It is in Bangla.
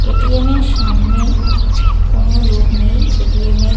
এ.টি.এম. -এর সামনে কোনো লোক নেই এ.টি.এম. -এর।